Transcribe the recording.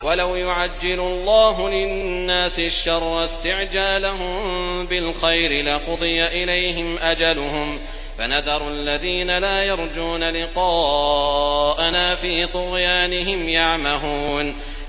۞ وَلَوْ يُعَجِّلُ اللَّهُ لِلنَّاسِ الشَّرَّ اسْتِعْجَالَهُم بِالْخَيْرِ لَقُضِيَ إِلَيْهِمْ أَجَلُهُمْ ۖ فَنَذَرُ الَّذِينَ لَا يَرْجُونَ لِقَاءَنَا فِي طُغْيَانِهِمْ يَعْمَهُونَ